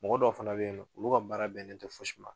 Mɔgɔ dɔw fana be yen nɔ, olu ka baara bɛnnen tɛ fosi ma